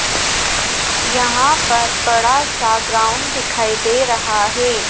यहां पर बड़ा सा ग्राउंड दिखाई दे रहा है।